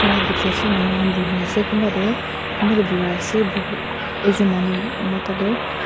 dekhi ase manu khan bohi na ase kunba tu birai ase mota tu.